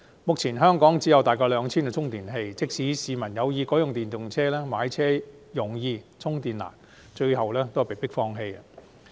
目前香港只有大約 2,000 個充電器，即使市民有意改用電動車，但因買車容易充電難，只好放棄。